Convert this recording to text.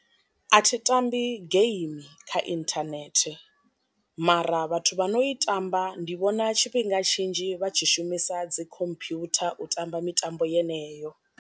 A thi tambi game kha inthanethe, mara vhathu vha no i tamba ndi vhona tshifhinga tshinzhi vha tshi shumisa dzi khomphutha u tamba mitambo yeneyo.